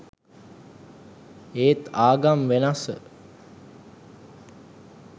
ඒත් ආගම් වෙනස.